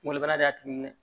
Kunkolo bana y'a tulu minɛ